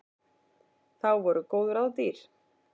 Þá voru góð ráð dýr!